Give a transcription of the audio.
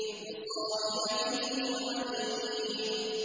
وَصَاحِبَتِهِ وَأَخِيهِ